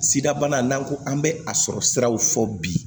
Sida bana n'an ko an bɛ a sɔrɔ siraw fɔ bi